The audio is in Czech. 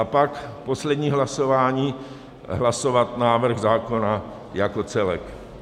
A pak poslední hlasování - hlasovat návrh zákona jako celek.